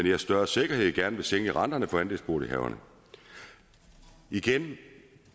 her større sikkerhed gerne vil sænke renterne for andelsbolighaverne igen